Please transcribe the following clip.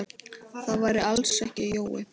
Það væri alls ekki Jói.